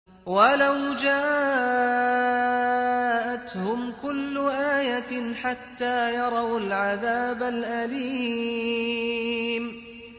وَلَوْ جَاءَتْهُمْ كُلُّ آيَةٍ حَتَّىٰ يَرَوُا الْعَذَابَ الْأَلِيمَ